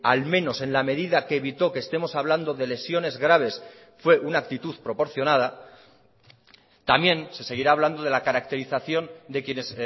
al menos en la medida que evitó que estemos hablando de lesiones graves fue una actitud proporcionada también se seguirá hablando de la caracterización de quienes